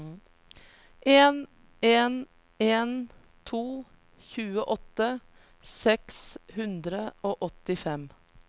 en en en to tjueåtte seks hundre og åttifem